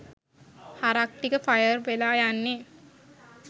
හරක් ටික ෆයර් වෙලා යන්නේ